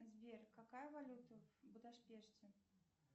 сбер какая валюта в будапеште